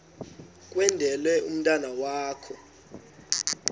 kwendele umntwana wakho